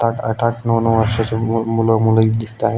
सात आठ आठ नऊ नऊ वर्षाची मूल मुली हि दिसताए.